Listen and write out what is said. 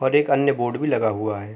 और एक अन्य बोर्ड भी लगा हुआ है।